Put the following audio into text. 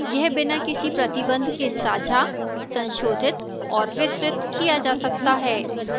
यह बिना किसी प्रतिबंध के साझा संशोधित और वितरित किया जा सकता है